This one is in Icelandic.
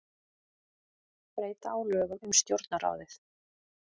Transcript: Breyta á lögum um Stjórnarráðið